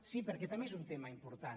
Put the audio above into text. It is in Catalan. sí perquè també és un tema important